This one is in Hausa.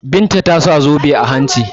Binta ta sa zobe a hanci.